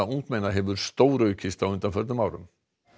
ungmenna hefur stóraukist á undanförnum árum